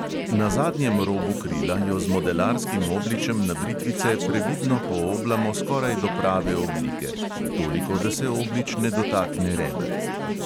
Na zadnjem robu krila jo z modelarskim obličem na britvice previdno pooblamo skoraj do prave oblike (toliko, da se oblič ne dotakne reber).